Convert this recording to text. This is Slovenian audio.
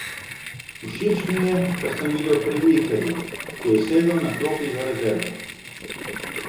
Všeč mi je, kar sem videl pri Ikerju, ko je sedel na klopi za rezerve.